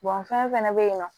fɛn fɛn bɛ yen nɔ